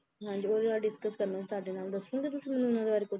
ਹਾਂਜੀ ਓਹਦੇ ਬਾਰੇ discuss ਕਰਨਾ ਸੀ ਤੁਹਾਡੇ ਨਾਲ ਦਸੋਂਗੇ ਤੁਸੀ ਮੈਨੂੰ ਓਹਨਾ ਬਾਰੇ ਕੁਛ